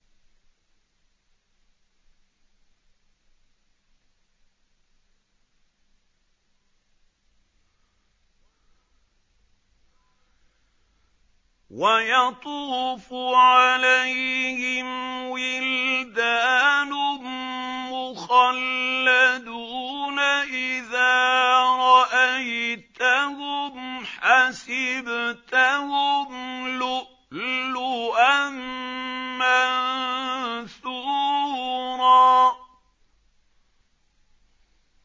۞ وَيَطُوفُ عَلَيْهِمْ وِلْدَانٌ مُّخَلَّدُونَ إِذَا رَأَيْتَهُمْ حَسِبْتَهُمْ لُؤْلُؤًا مَّنثُورًا